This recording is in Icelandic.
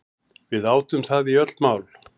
Við átum það í öll mál.